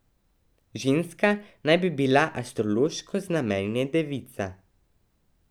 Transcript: Ženska naj bi bila astrološko znamenje devica.